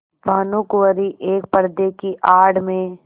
भानुकुँवरि एक पर्दे की आड़ में